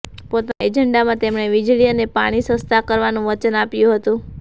પોતાના એજન્ડામાં તેમણે વીજળી અને પાણી સસ્તાં કરવાનું વચન આપ્યું હતું